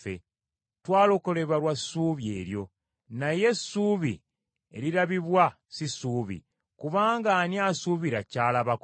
Twalokolebwa lwa ssuubi eryo. Naye essuubi erirabibwa si ssuubi; kubanga ani asuubira ky’alabako?